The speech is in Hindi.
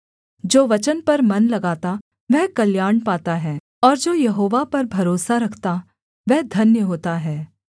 जो वचन पर मन लगाता वह कल्याण पाता है और जो यहोवा पर भरोसा रखता वह धन्य होता है